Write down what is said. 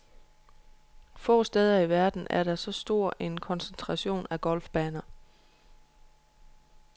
Få steder i verden er der så stor en koncentration af golfbaner.